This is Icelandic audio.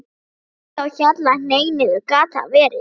MANGI Á HJALLA, hneig niður. gat það verið?